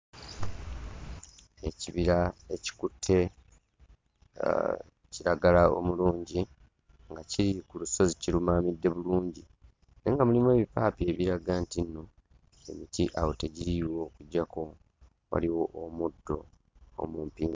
Ekibira ekikutte kiragala omulungi nga kiri ku lusozi kirumaamidde bulungi naye nga mulimu ebipaapi ebiraga nti nno emiti awo tegiriiwo okuggyako waliwo omuddo omumpi.